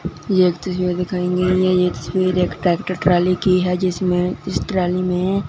यह एक तस्वीर दिखाई गई है ये तस्वीर एक ट्रैक्टर ट्राली की है जिसमें इस ट्राली में--